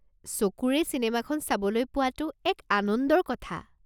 চকুৰে চিনেমাখন চাবলৈ পোৱাটো এক আনন্দৰ কথা।